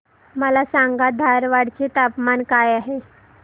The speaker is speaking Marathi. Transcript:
मला सांगा धारवाड चे तापमान काय आहे